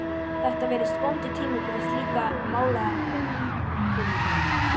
Þetta virðist vondur tími fyrir slíka málaleitan, Finnur minn.